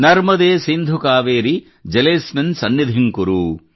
ನರ್ಮದೇ ಸಿಂಧು ಕಾವೇರೀ ಜಲೇ ಅಸ್ಮಿನ್ ಸನ್ನಿಧಿಂ ಕುರು